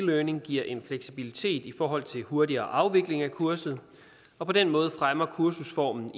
learning giver en fleksibilitet i forhold til hurtigere afvikling af kurset og på den måde fremmer kursusformen